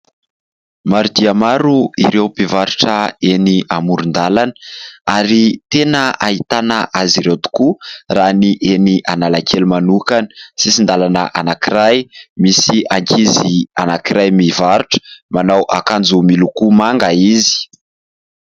Maro dia maro ireo mpivarotra eny amoron-dalana ary tena ahitana azy ireo tokoa raha ny eny Analakely manokana. Sisin-dalana anankiray misy ankizy anankiray mivarotra, manao akanjo miloko manga izy.